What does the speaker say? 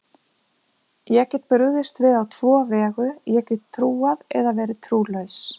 Ég get brugðist við á tvo vegu, ég get trúað eða verið trúlaus.